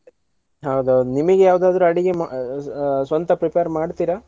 ಹೌದೌದ್. ನಿಮಿಗ್ ಯಾವ್ದಾದ್ರು ಅಡಿಗೆ ~ ಆ ಸ್ವಂತ prepare ಮಾಡ್ತೀರಾ?